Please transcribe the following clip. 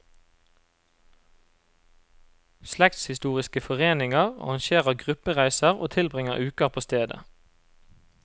Slektshistoriske foreninger arrangerer gruppereiser og tilbringer uker på stedet.